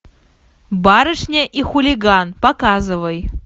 барышня и хулиган показывай